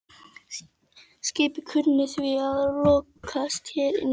Skipið kunni því að lokast hér inni til frambúðar.